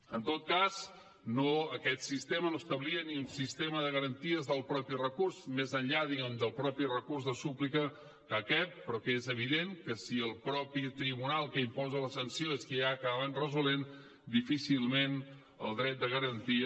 en tot cas aquest sistema no establia ni un sistema de garanties del mateix recurs més enllà diguem ne del mateix recurs de súplica que hi cap però que és evident que si el mateix tribunal que imposa la sanció és qui ha acabat resolent difícilment el dret de garantia